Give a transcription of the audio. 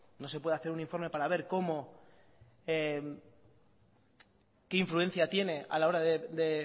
no se puede hacer un informe para ver cómo qué influencia tiene a la hora de